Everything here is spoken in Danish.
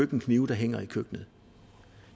køkkenknive der hænger i køkkenet